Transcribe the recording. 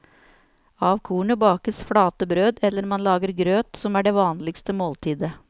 Av kornet bakes flate brød eller man lager grøt, som er det vanligste måltidet.